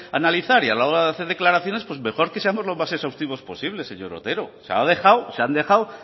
analizar y a la hora de hacer declaraciones pues mejor que seamos lo más exhaustivos posibles señor otero o sea se han dejado